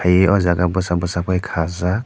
e o jaga bosak bosak ke kajak.